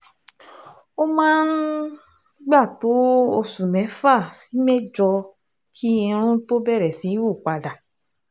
Ó máa ń gbà tó oṣù mẹ́fà sí mẹ́jọ kí irun tó bẹ̀rẹ̀ sí hù padà